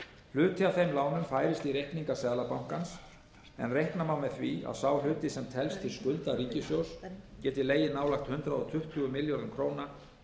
hluti af þeim lánum færist í reikninga seðlabankans en reikna má með því að sá hluti sem telst til skulda ríkissjóðs geti legið nærri hundrað tuttugu milljörðum króna